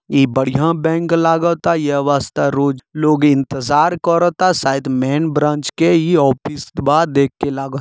इ बढ़िया बैंक लागता यह वास्ता रोज लोग इंतजार कराता शायद मेन ब्रांच के इ ऑफिस बा देख के लागत --